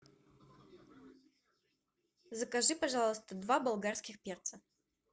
закажи пожалуйста два болгарских перца